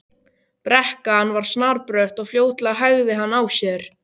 Brekkan var snarbrött og fljótlega hægði hann á sér.